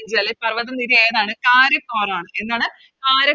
പർവ്വത നിര ഏതാണ് കാരി എന്താണ്